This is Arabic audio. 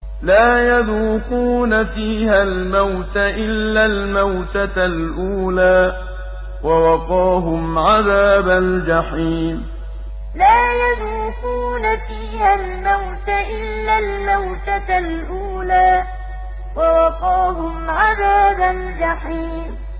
لَا يَذُوقُونَ فِيهَا الْمَوْتَ إِلَّا الْمَوْتَةَ الْأُولَىٰ ۖ وَوَقَاهُمْ عَذَابَ الْجَحِيمِ لَا يَذُوقُونَ فِيهَا الْمَوْتَ إِلَّا الْمَوْتَةَ الْأُولَىٰ ۖ وَوَقَاهُمْ عَذَابَ الْجَحِيمِ